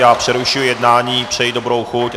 Já přerušuji jednání, přeji dobrou chuť.